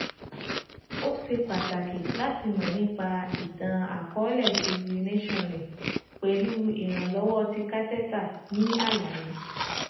O ṣe pataki lati mọ nipa itan-akọọlẹ ti urination rẹ pẹlu iranlọwọ ti catheter ni alaye